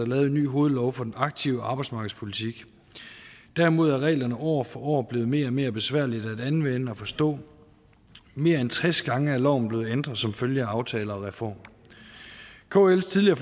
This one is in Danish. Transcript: lavet en ny hovedlov for den aktive arbejdsmarkedspolitik derimod er reglerne år for år blevet mere og mere besværlige at anvende og forstå og mere end tres gange er loven blevet ændret som følge af aftaler og reformer kls tidligere